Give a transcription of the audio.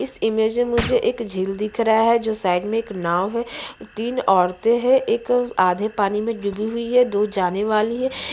इस इमेज में मुझे एक झील दिख रहा है जो साइड { में एक नाव है और तीन औरते हैं एक आधे पानी में डूबी हुई है दो जाने वाली है। }